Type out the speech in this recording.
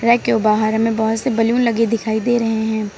Rack के बाहर हमें बहुत से बैलून लगे दिखाई दे रहे हैं।